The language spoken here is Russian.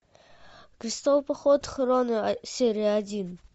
крестовый поход хроно серия один